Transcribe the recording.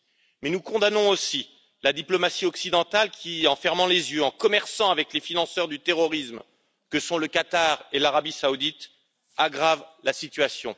Mais nous condamnons aussi la diplomatie occidentale qui, en fermant les yeux, en commerçant avec les financeurs du terrorisme que sont le Qatar et l'Arabie Saoudite, aggrave la situation.